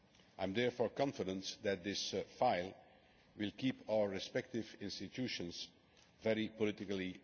I am therefore confident that this file will keep our respective institutions very politically engaged.